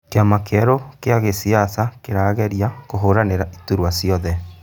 kĩama kĩerũ kĩa gĩsiasa kĩrageia kũhũranĩra iturua ciothe